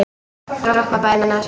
Doppa bærir á sér.